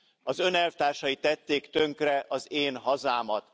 Az Ön elvtársai tették tönkre az én hazámat.